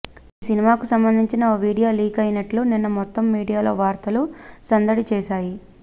ఈ సినిమాకు సంబందించిన ఓ వీడియో లీక్ అయినట్లు నిన్న మొత్తం మీడియాలో వార్తలు సందడి చేశాయి